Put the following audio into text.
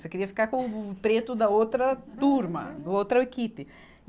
Só queria ficar com o preto da outra turma, do outro equipe.